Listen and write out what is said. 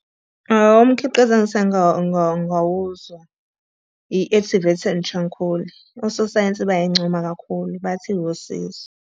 Umkhiqizo engisake ngawuzwa, i-activated charcoal. Ososayensi bayayincoma kakhulu, bathi iwusizo.